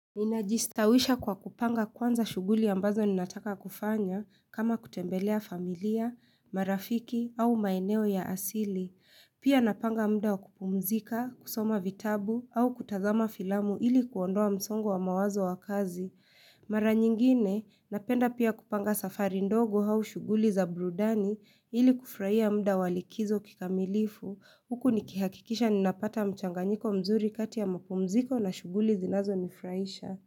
Nina jistawisha kwa kupanga kwanza shuguli ambazo ninataka kufanya kama kutembelea familia, marafiki au maeneo ya asili. Pia napanga mda wakupumzika, kusoma vitabu au kutazama filamu ili kuondoa msongo wa mawazo ya kazi. Mara nyingine, napenda pia kupanga safari ndogo au shuguli za burudani ili kufurahia muda wa likizo kikamilifu. Huku nikihakikisha ninapata mchanganyiko mzuri kati ya mapumziko na shuguli zinazo nifurahisha.